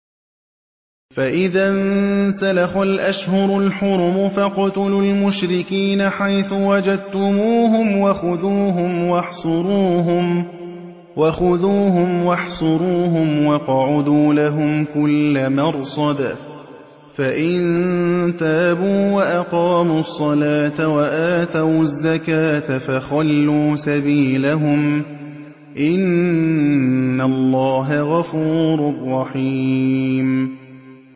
فَإِذَا انسَلَخَ الْأَشْهُرُ الْحُرُمُ فَاقْتُلُوا الْمُشْرِكِينَ حَيْثُ وَجَدتُّمُوهُمْ وَخُذُوهُمْ وَاحْصُرُوهُمْ وَاقْعُدُوا لَهُمْ كُلَّ مَرْصَدٍ ۚ فَإِن تَابُوا وَأَقَامُوا الصَّلَاةَ وَآتَوُا الزَّكَاةَ فَخَلُّوا سَبِيلَهُمْ ۚ إِنَّ اللَّهَ غَفُورٌ رَّحِيمٌ